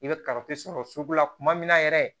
I bɛ sɔrɔ sugu la kuma min na yɛrɛ